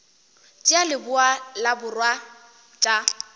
tša leboa le borwa tša